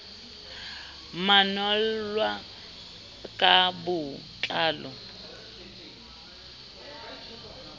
manol lwa ka bo tlalo